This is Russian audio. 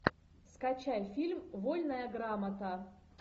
скачай фильм вольная грамота